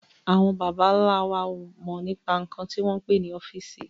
Àwọn bàbà ńla wa ó mọ nípa nkan tí a ń pè ní ọ́fíìsì